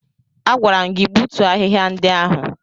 Agwara m gị gbutuo ahịhịa ndị ahụ!